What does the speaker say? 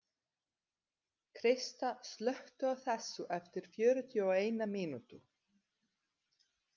Krista, slökktu á þessu eftir fjörutíu og eina mínútur.